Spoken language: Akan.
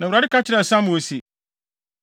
Na Awurade ka kyerɛɛ Samuel se,